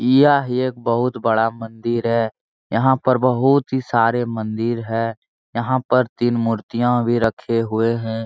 यह येक बहुत बड़ा मंदिर है यहाँ पर बहुत ही सारे मंदिर है यहाँ पर तीन मूर्तियाँ भी रखे हुए हैं।